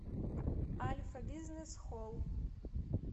альфа бизнес холл